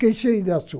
Quem chega